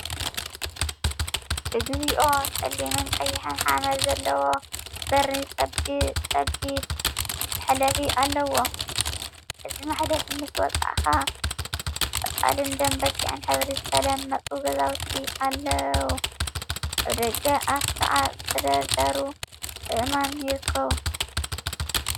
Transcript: እግዚኦ! ጸሊምን ቀይሕን ሓመድ ዘለዎ በሪ ጸቢብ መሕለፊ ኣለዎ። በዚ መሕለፊ ምስ ውጻእካ ቆጻልን ደም በጊዕን ሕብሪ ዝተለመጹ ገዛውቲ ኣልው። ኣብ ደገ ኣፉ ከዓ ዝተደርደሩ ኣእማን ይርከቡ።